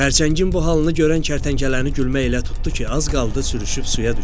Xərçəngin bu halını görən kərtənkələni gülmək elə tutdu ki, az qaldı sürüşüb suya düşsün.